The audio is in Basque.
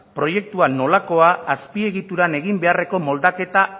proiektuan nolakoa azpiegituran egin beharreko moldaketa